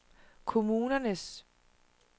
kommunernes